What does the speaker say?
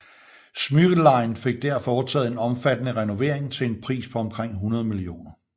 Smyril Line fik der foretaget en omfattende renovering til en pris på omkring 100 mio